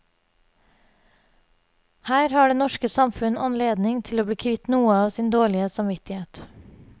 Her har det norske samfunn anledning til å bli kvitt noe av sin dårlige samvittighet.